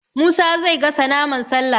Musa zai gasa naman Sallah